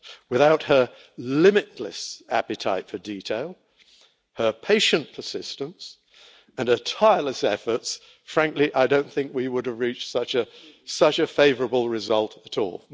Without her limitless appetite for detail, her patient persistence and her tireless efforts, frankly, I don't think we would have reached such a favourable result at all.